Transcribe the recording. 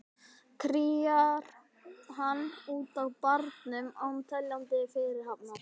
Kríar hann út á barnum án teljandi fyrirhafnar.